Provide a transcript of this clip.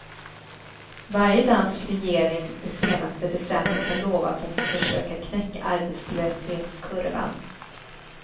Varje dansk regering det senaste decenniet har lovat att försöka knäcka arbetslöshetskurvan.